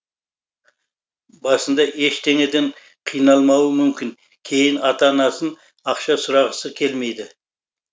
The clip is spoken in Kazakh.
басында ештеңеден қиналмауы мүмкін кейін ата анасын ақша сұрағысы келмейді